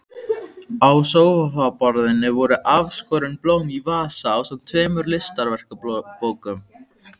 Á sófaborðinu voru afskorin blóm í vasa ásamt tveimur listaverkabókum.